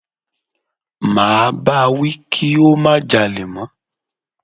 Máa bá wí kí ó má jalè mọ́.